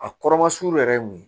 A kɔrɔma suru yɛrɛ ye mun ye